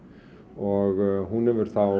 og hún hefur þá